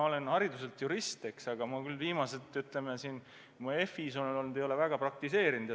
Ma olen küll hariduselt jurist, aga viimased aastat, kui ma FI-s olen olnud, ei ole ma väga seda praktiseerinud.